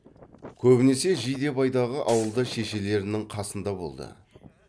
көбінесе жидебайдағы ауылда шешелерінің қасында болды